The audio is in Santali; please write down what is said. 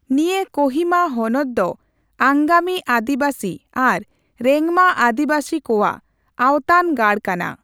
ᱱᱤᱭᱟ. ᱠᱚᱦᱤᱢᱟ ᱦᱚᱱᱚᱛ ᱫᱚ ᱟᱝᱜᱟᱢᱤ ᱟ.ᱫᱤᱵᱟ.ᱥᱤ ᱟᱨ ᱨᱮᱝᱢᱟ ᱟ.ᱰᱤᱵᱟ.ᱥᱤ ᱠᱚᱣᱟᱜ ᱟᱣᱛᱟᱱ ᱜᱟᱲ ᱠᱟᱱᱟ᱾